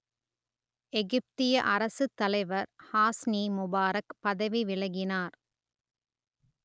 எகிப்திய அரசுத்தலைவர் Hosni Mubarak பதவி விலகினார்